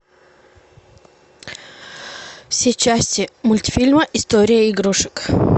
все части мультфильма история игрушек